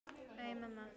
Æ, mamma!